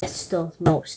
Upprétt stóð hún óstudd.